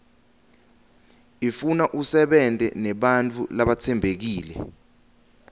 ifuna usebente nebantfu labatsembekile